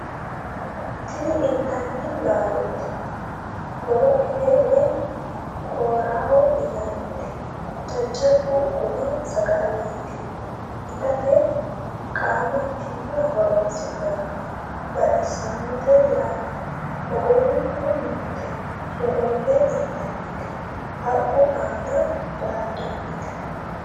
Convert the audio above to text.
tini intanni laalooti boloqete woy kooraho yinannite jajjabba gumma sagaleeti itate qaamattimma horoonsi'nannite baxissannote yaate ogorunku noote sholoolle intannite haqqu aana daaddannote